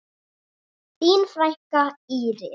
Þín frænka, Íris.